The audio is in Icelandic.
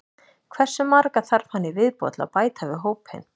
Hversu marga þarf hann í viðbót til að bæta við hópinn?